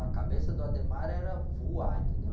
A cabeça do era voar, entendeu?